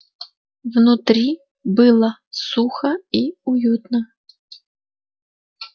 внутри было сухо и уютно